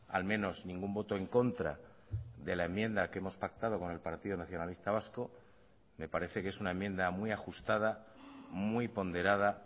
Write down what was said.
al menos ningún voto en contra de la enmienda que hemos pactado con el partido nacionalista vasco me parece que es una enmienda muy ajustada muy ponderada